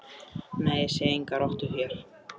Nei, ég sé enga rottu hér